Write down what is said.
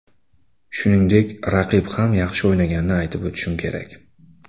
Shuningdek, raqib ham yaxshi o‘ynaganini aytib o‘tishim kerak.